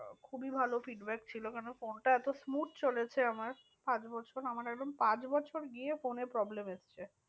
খুবই ভালো feedback ছিল কেন ফোনটা তো smooth চলেছে আমার সাত বছর। আমার একদম পাঁচ বছর গিয়ে ফোনে problem এসেছে।